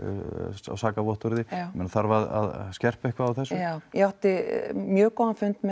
sakavottorði þarf að skerpa eitthvað á þessu já ég átti mjög góðan fund með